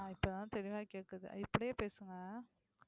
ஆஹ் இப்போதான் தெளிவா கேக்குது இப்படியே பேசுங்க.